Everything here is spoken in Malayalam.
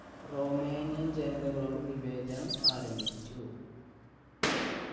romanian ജനതകളോട് വിവേചനം ആരംഭിച്ചു.